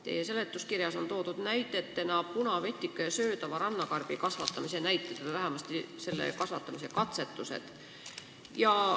Teie seletuskirjas on toodud näidetena punavetika ja söödava rannakarbi kasvatamine või vähemasti selle katsetused.